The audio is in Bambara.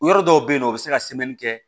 Yɔrɔ dɔw bɛ yen nɔ u bɛ se ka kɛ